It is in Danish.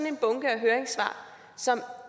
en bunke af høringssvar som